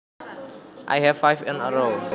I have five in a row